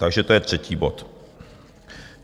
Takže to je třetí bod.